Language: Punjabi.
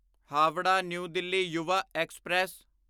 Howrah new Delhi Yuva express